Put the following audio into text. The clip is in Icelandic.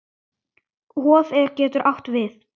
Hof getur átt við